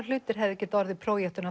hlutir hefðu getað orðið